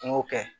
N y'o kɛ